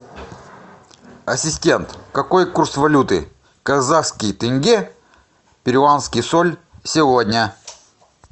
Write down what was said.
ассистент какой курс валюты казахский тенге перуанский соль сегодня